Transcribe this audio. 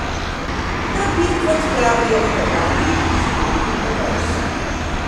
Da bi, kot pravijo Hrvati, izgubili obraz.